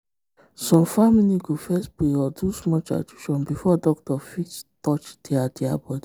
some family go first pray or do small tradition before doctor fit touch their their body.